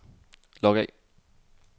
log af